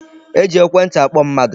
E ji ekwentị akpọ mmadụ.